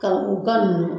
Ka u ka nunnu